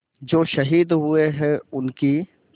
जो शहीद हुए हैं उनकी